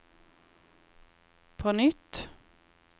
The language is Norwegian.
på nytt